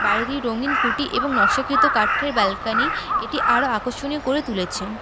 বাইরে দিয়ে রঙিন খুঁটি এবং নকশাকৃত কাঠের ব্যালকনি এটি আরও আকর্ষণীয় করে তুলেছেন।